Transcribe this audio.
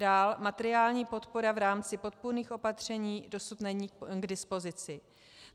Dál, materiální podpora v rámci podpůrných opatření dosud není k dispozici.